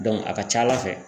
a ka ca ALA fɛ .